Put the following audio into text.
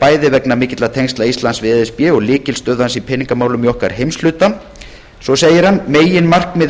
bæði vegna mikilla tengsla íslands við e s b og lykilstöðu hans í peningamálum í okkar heimshluta svo segir hann með leyfi forseta meginmarkmið